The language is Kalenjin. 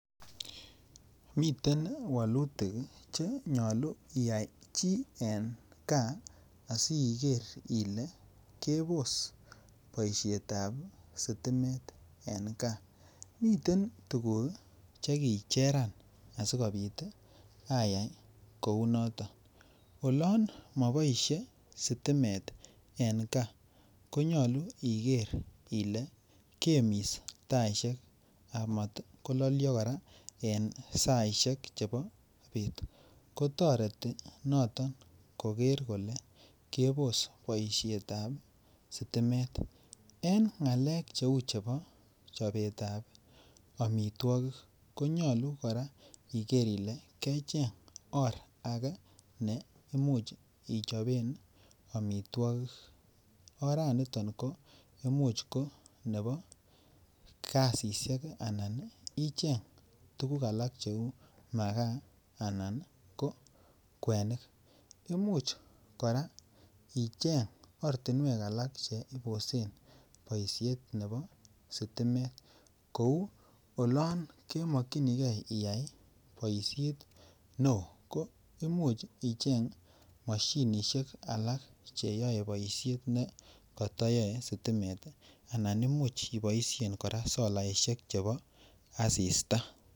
Miten walutik Che nyolu iyai chi en gaa asi igeer ile kebos boisiet ab sitimet en gaa miten tuguk Che kicheran asi kobit ayai kounoton oloon moboisie stimet en gaa konyolu igeer ile kemis taisiek amat kololyo kora en saisiek chebo bet kotoreti noto kogeer kole kebos boisiet ab stimet en ngalek cheu chobetab amitwogik ko nyolu kora igeer ile kecheng or age ne Imuch ichoben amitwogik oranito ko Imuch ko nebo gasisyek anan icheng tuguk alak cheu makaa anan ko kwenik Imuch kora icheng ortinwek alak Che Imuch ibosen boisiet nebo stimet kou olon kemokyinige iyai boisiet neo ko Imuch icheng mashinisiek alak Che yoe boisiet nekoto yoe sitimet anan Imuch iboisien kora solaisiek chebo asista